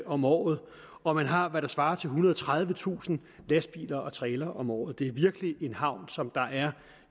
om året og man har hvad der svarer til ethundrede og tredivetusind lastbiler og trailere om året det er virkelig en havn som er